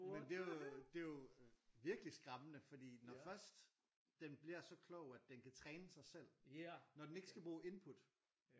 Men det jo det jo virkelig skræmmende fordi når først den bliver så klog at den kan træne sig selv. Når den ikke skal bruge input